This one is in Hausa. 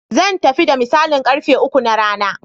Zan tafi da misalin ƙarfe uku na rana.